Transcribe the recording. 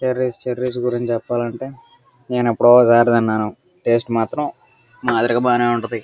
Cherries గురించి చెప్పాలంటే నేను ఎప్పుడో తిన్నాను. టేస్ట్ అయితే బానే ఉంటది.